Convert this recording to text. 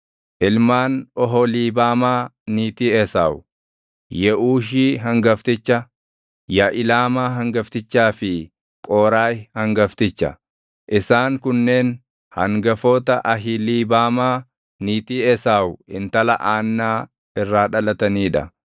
Ilmaan Oholiibaamaa niitii Esaawu: Yeʼuushi hangafticha, Yaʼilaamaa hangaftichaa fi Qooraahi hangafticha. Isaan kunneen hangafoota Ahiliibaamaa niitii Esaawu intala Aannaa irraa dhalatanii dha.